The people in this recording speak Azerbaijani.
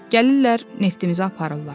Gəlirlər neftimizi aparırlar.